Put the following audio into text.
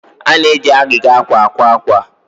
a na-eji agịga akwa akwa akwa